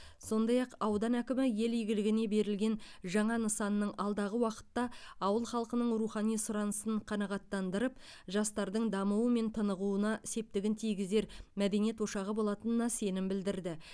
сондай ақ аудан әкімі ел игілігіне берілген жаңа нысанның алдағы уақытта ауыл халқының рухани сұранысын қанағаттандырып жастардың дамуы мен тынығуына септігін тигізер мәдениет ошақ болатынына сенім білдірді